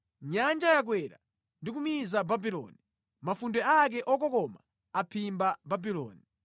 Nyanja yakwera ndi kumiza Babuloni; mafunde ake okokoma aphimba Babuloni.